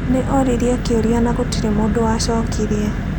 Nĩ oririe kĩũria no gũtirĩ mũndũ wacokire.